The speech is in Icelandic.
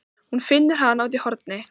Hún finnur hana úti í horni.